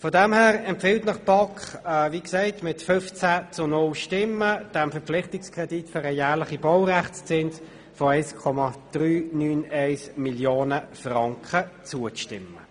Angesichts dessen empfiehlt Ihnen die BaK, wie erwähnt mit 15 zu 0 Stimmen, diesem Verpflichtungskredit für den jährlichen Baurechtszins von 1,391 Mio. Franken zuzustimmen.